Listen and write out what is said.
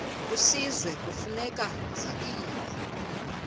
kwisizwe kufuneka zabiwe